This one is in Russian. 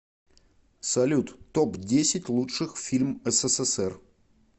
салют топ десять лучших фильм ссср